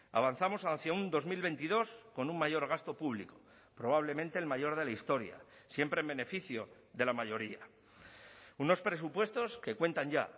avanzamos hacia un dos mil veintidós con un mayor gasto público probablemente el mayor de la historia siempre en beneficio de la mayoría unos presupuestos que cuentan ya